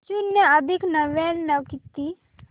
शून्य अधिक नव्याण्णव किती